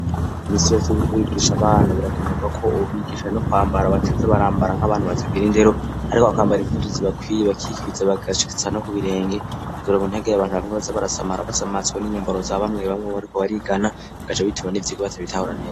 imisi yose uriko urigisha abana birakenerwa ko ubigisha no kwambara bataza barambara nk'abantu batagira indero ariko bakambara impuzu zibakwiye bakikwiza bagashitsa no ku birenge kugira ntihagire abantu bamwe baza barasamara basamazwa n'inyambaro za bamwe bamwe bariko barigana bagaca bituma n'ivyigwa batabitahura neza.